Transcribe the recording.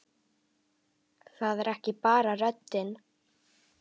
Það er ekki bara röddin.